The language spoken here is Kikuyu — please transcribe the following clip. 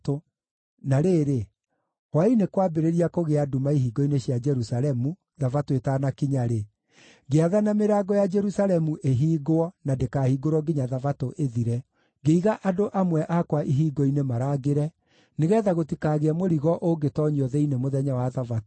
Na rĩrĩ, hwaĩ-inĩ kwambĩrĩria kũgĩa nduma ihingo-inĩ cia Jerusalemu Thabatũ ĩtanakinya-rĩ, ngĩathana mĩrango ya Jerusalemu ĩhingwo na ndĩkahingũrwo nginya Thabatũ ĩthire. Ngĩiga andũ amwe akwa ihingo-inĩ marangĩre, nĩgeetha gũtikagĩe mũrigo ũngĩtoonyio thĩinĩ mũthenya wa Thabatũ.